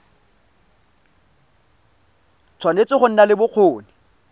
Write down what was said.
tshwanetse go nna le bokgoni